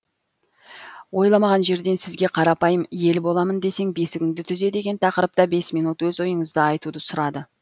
ойламаған жерден сізге қарапайым ел боламын десең бесігіңді түзе деген тақырыпта бес минут өз ойыңызды айтуды сұрады